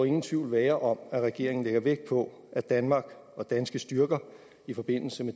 ingen tvivl være om at regeringen lægger vægt på at danmark og danske styrker i forbindelse med